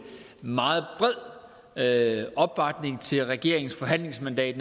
meget bred opbakning til regeringens forhandlingsmandat